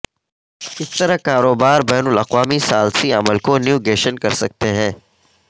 کس طرح کاروبار بین الاقوامی ثالثی عمل کو نیویگیشن کرسکتے ہیں